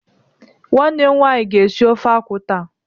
Nwannem nwaanyị ga esi ofe akwụ taa.